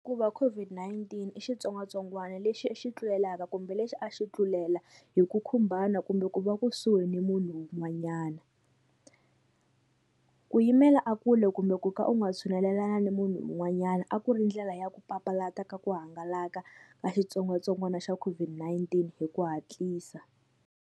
Ku va COVID-19 i xitsongwatsongwana lexi xi tlulelaka kumbe lexi a xi tlulela hi ku khumbana kumbe ku va kusuhi ni munhu un'wanyana ku yimela a kule kumbe ku ka u nga tshunelelani na munhu un'wanyana a ku ri ndlela ya ku papalata ka ku hangalaka ka xitsongwatsongwana xa COVID-19 hi ku hatlisa.